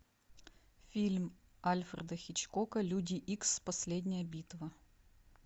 фильм альфреда хичкока люди икс последняя битва